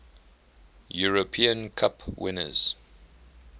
european cup winners